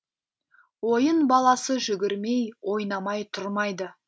ойын баласы жүгірмей ойнамай тұрмайды